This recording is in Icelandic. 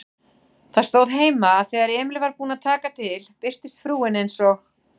Það stóð heima, að þegar Emil var búinn að taka til birtist frúin eins og